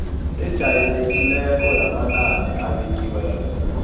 ejayelekileko yamanani abekiweko